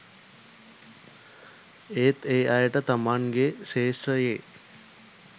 ඒත් ඒ අයට තමන්ගෙ ක්ෂෙත්‍රයෙ